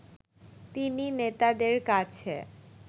তিনি নেতাদের কাছে